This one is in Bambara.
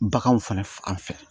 Baganw fana fɛ